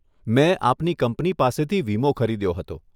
મેં આપની કંપની પાસેથી વીમો ખરીદ્યો હતો.